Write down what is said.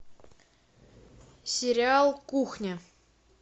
сериал кухня